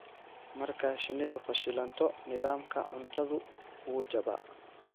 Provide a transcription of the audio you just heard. Marka shinnidu fashilanto, nidaamka cuntadu wuu jabaa.